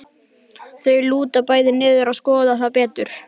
Þau lúta bæði niður til að skoða það betur.